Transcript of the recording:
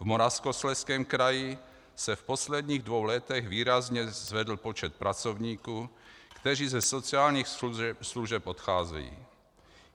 V Moravskoslezském kraji se v posledních dvou letech výrazně zvedl počet pracovníků, kteří ze sociálních služeb odcházejí.